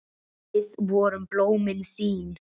Við vorum blómin þín.